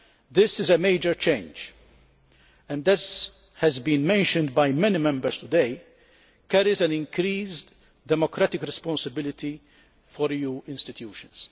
This is a major change and, as has been mentioned by many Members today, it implies an increased democratic responsibility for EU institutions.